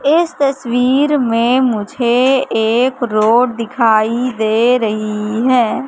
इस तस्वीर में मुझे एक रोड दिखाई दे रही है।